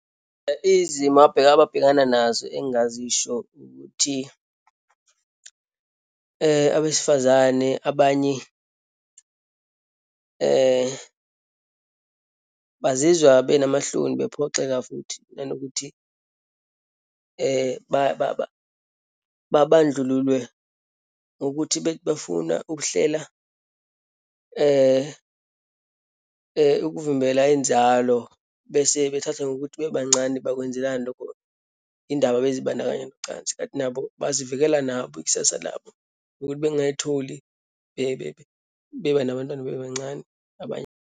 Izimo abheka, ababhekana nazo engingazisho ukuthi abesifazane abanye bazizwa benamahloni bephoxela futhi, nanokuthi babandlululwe ngokuthi bethi befuna ukuhlela, ukuvimbela inzalo bese bethathwa ngokuthi bebancane bakwenzelani loko, yini ndaba bezibandakanya nocansi, kanti nabo bazivikela nabo ikusasa labo, ukuthi bengayitholi beba nabantwana bebancane, abanye.